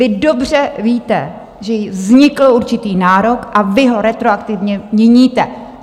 Vy dobře víte, že jim vznikl určitý nárok, a vy ho retroaktivně měníte!